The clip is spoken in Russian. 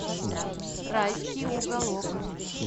райский уголок